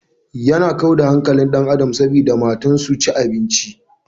Yana kau da hankalin ɗan adam sabida matan su ci abinci.